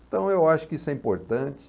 Então eu acho que isso é importante.